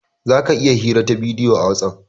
Zaka iya hirar ta bidiyo a "Whatsapp".